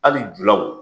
Hali julaw